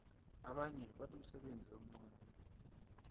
abanye banomsebenzi omncani